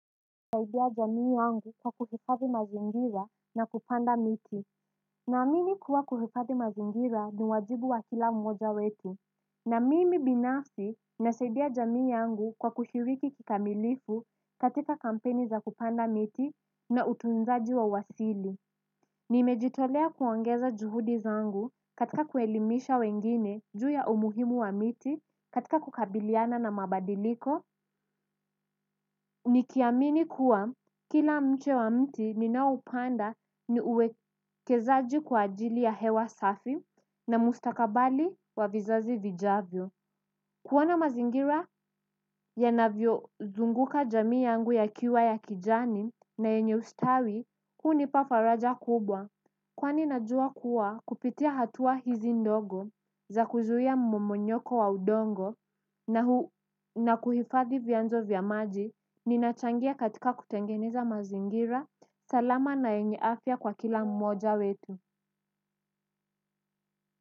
Nasaidia jamii yangu kwa kuhifadhi mazingira na kupanda miti. Naamini kuwa kuhifadhi mazingira ni wajibu wa kila mmoja wetu. Na mimi binafsi nasaidia jamii yangu kwa kushiriki kikamilifu katika kampeni za kupanda miti na utunzaji wa wasili. Nimejitolea kuongeza juhudi zangu katika kuelimisha wengine juu ya umuhimu wa miti katika kukabiliana na mabadiliko. Nikiamini kuwa kila mche wa mti ninaoupanda ni uwekezaji kwa ajili ya hewa safi na mustakabali wa vizazi vijavyo. Kuona mazingira yanavyozunguka jamii yangu yakiwa ya kijani na yenye ustawi hunipa faraja kubwa. Kwani najua kuwa kupitia hatua hizi ndogo za kuzuia momonyoko wa udongo na kuhifadhi vyanzo vya maji ninachangia katika kutengeneza mazingira salama na yenye afya kwa kila mmoja wetu.